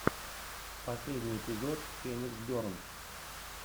последний эпизод феникс бернс